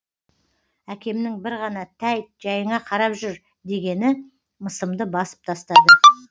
әкемнің бір ғана тәйт жайыңа қарап жүр дегені мысымды басып тастады